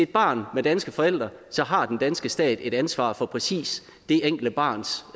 barn med danske forældre har den danske stat et ansvar for præcis det enkelte barns